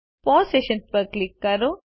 pause session ઉપર click કરો